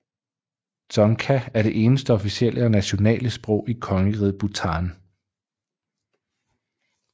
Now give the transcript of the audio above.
Dzongkha er det eneste officielle og nationale sprog i Kongeriget Bhutan